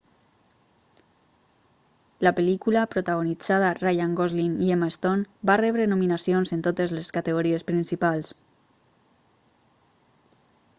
la pel·lícula protagonitzada ryan gosling i emma stone va rebre nominacions en totes les categories principals